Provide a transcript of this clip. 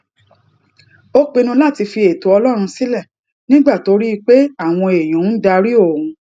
ó pinnu láti fi ètò ọlórun sílè nígbà tó rí i pé àwọn èèyàn ń darí òun